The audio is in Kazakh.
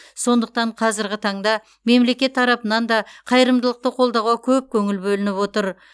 сондықтан қазірғі таңда мемлекет тарапынан да қайырымдылықты қолдауға көп көңіл бөлініп отыр